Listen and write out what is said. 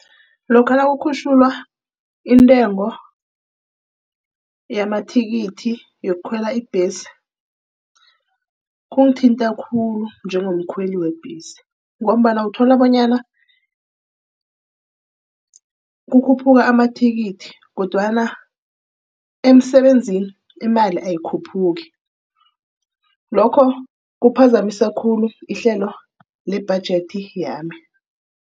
Lokha nakukhutjhulwa intengo yamathikithi yokukhwela ibhesi. Kungithinta khulu njengomkhweli webhesi, ngombana uthola bonyana kukhuphuka amathikithi kodwana emsebenzini imali ayikhuphuki. Lokho kuphazamisa khulu ihlelo lebhajethi yami.